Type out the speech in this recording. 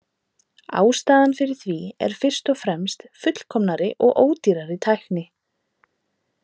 Ástæðan fyrir því er fyrst og fremst fullkomnari og ódýrari tækni.